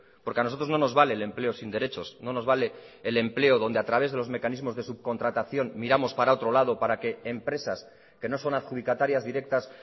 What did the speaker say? porque a nosotros no nos vale el empleo sin derechos no nos vale el empleo dónde a través de los mecanismos de subcontratación miramos para otro lado para que empresas que no son adjudicatarias directas